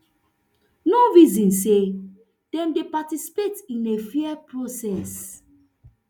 no reason say dem dey participate in a fair process